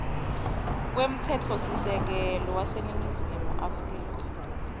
kwemtsetfosisekelo waseningizimu afrika